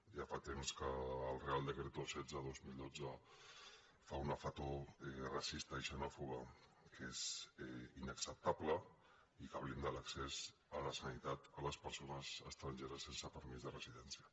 ja fa temps que el real decreto setze dos mil dotze fa una foto racista i xenòfoba que és inacceptable i que blinda l’accés a la sanitat a les persones estrangeres sense permís de residència